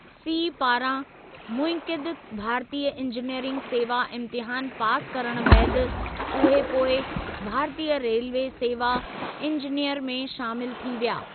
C पारां मुनइक़िदु भारतीय इंजीनियरिंग सेवा इम्तिहानु पास करणु बैदि, उहे पोइ भारतीय रेल्वे सेवा इंजीनियर में शामिलु थी विया।